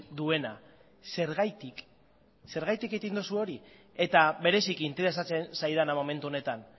duena zergatik zergatik egiten duzue hori eta bereziki interesatzen zaidana momentu honetan